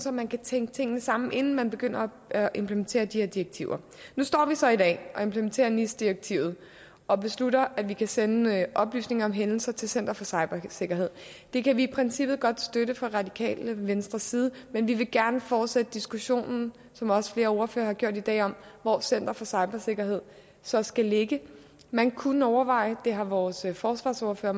at man kan tænke tingene sammen inden man begynder at implementere de her direktiver nu står vi så i dag og implementerer nis direktivet og beslutter at vi kan sende oplysninger om hændelser til center for cybersikkerhed det kan vi i princippet godt støtte fra radikale venstres side men vi vil gerne fortsætte diskussionen som også flere ordførere har gjort i dag om hvor center for cybersikkerhed så skal ligge man kunne overveje det har vores forsvarsordfører